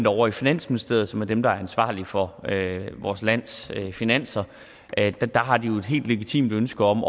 ovre i finansministeriet som er dem der er ansvarlige for vores lands finanser jo et helt legitimt ønske om